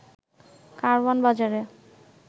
কারওয়ান বাজারে